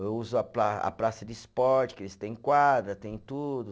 Eu uso a pra, a praça de esporte, que eles têm quadra, tem tudo.